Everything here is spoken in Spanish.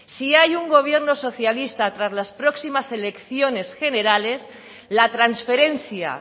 si hay un gobierno socialista tras las próximas elecciones generales la transferencia